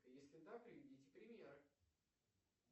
если да приведите примеры